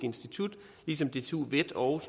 institut ligesom dtu vet og